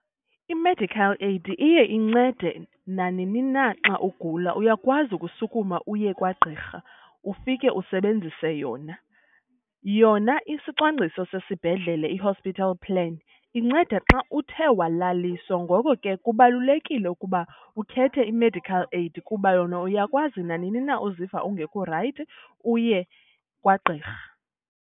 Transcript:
I-medical aid iye incede nanini na xa ugula, uyakwazi ukusukuma uye kwagqirha ufike usebenzise yona. Yona isicwangciso sesibhedlele, i-hospital plan, inceda xa uthe walaliswa, ngoko ke kubalulekile ukuba ukhethe i-medical aid kuba yona uyakwazi nanini na uziva ungekho rayithi uye kwagqirha.